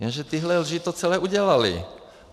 Jenže tyhle lži to celé udělaly.